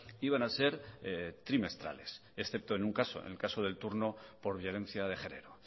iban a ser trimestrales excepto en un caso en el caso del turno por violencia de género